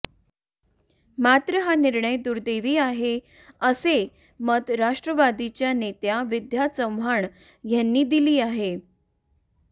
मात्र हा निर्णय दुर्दैवी आहे असे मत राष्ट्रवादीच्या नेत्या विद्या चव्हाण यांनी दिली आहे